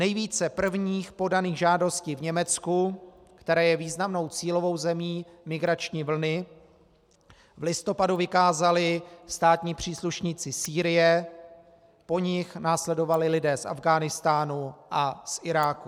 Nejvíce prvních podaných žádostí v Německu, které je významnou cílovou zemí migrační vlny, v listopadu vykázali státní příslušníci Sýrie, po nich následovali lidé z Afghánistánu a z Iráku.